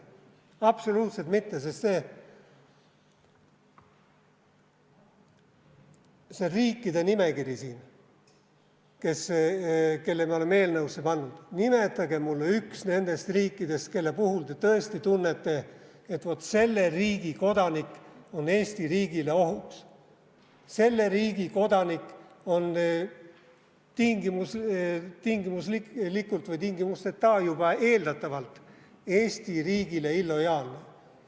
Absoluutselt mitte, sest see riikide nimekiri siin, mille me oleme eelnõusse pannud, nimetage mulle üks nendest riikidest, mille puhul te tõesti tunnete, et vot, selle riigi kodanik on Eesti riigile ohuks, selle riigi kodanik on tingimuslikult või tingimusteta juba eeldatavalt Eesti riigile ebalojaalne.